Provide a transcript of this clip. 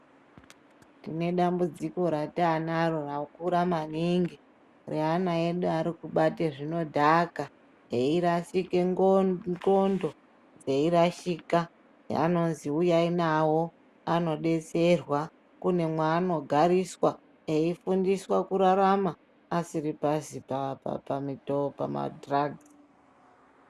Tine dambudziko ratanaro rakura maningi reana edu arikubate zvinodhaka eirashike ndxondo dzeirashika azi uyai navo vanodetserwa kune mwaanogariswa eifundiswa kurarama asiri pasi pena dhiragisi.